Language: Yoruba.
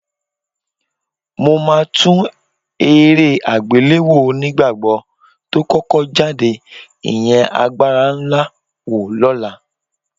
Mo máa tún eré àgbéléwò onígbàgbọ́ tó kọ́kọ́ jáde, ìyẹn Agbára Ńlá wò lọ́la